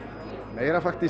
meira